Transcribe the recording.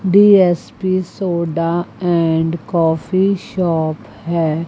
D S P soda और coffee shop है।